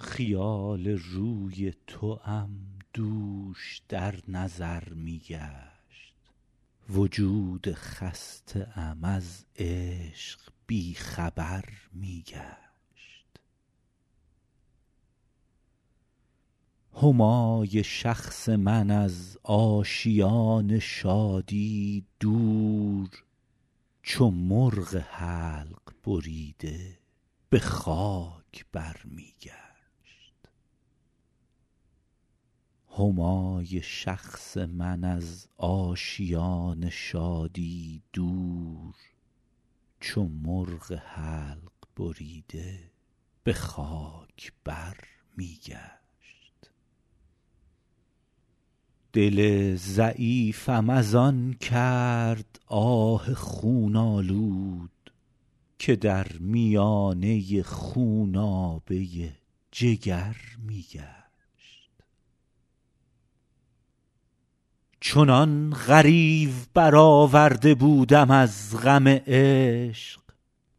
خیال روی توام دوش در نظر می گشت وجود خسته ام از عشق بی خبر می گشت همای شخص من از آشیان شادی دور چو مرغ حلق بریده به خاک بر می گشت دل ضعیفم از آن کرد آه خون آلود که در میانه خونابه جگر می گشت چنان غریو برآورده بودم از غم عشق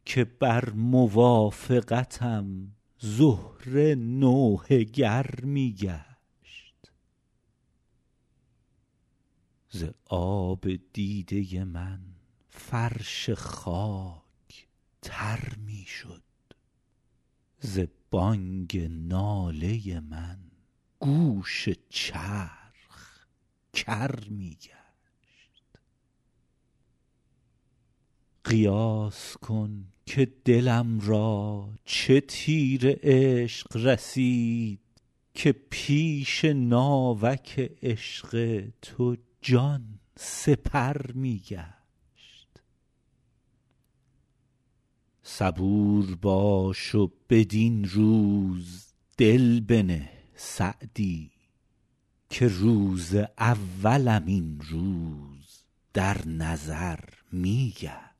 که بر موافقتم زهره نوحه گر می گشت ز آب دیده من فرش خاک تر می شد ز بانگ ناله من گوش چرخ کر می گشت قیاس کن که دلم را چه تیر عشق رسید که پیش ناوک هجر تو جان سپر می گشت صبور باش و بدین روز دل بنه سعدی که روز اولم این روز در نظر می گشت